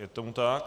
Je tomu tak.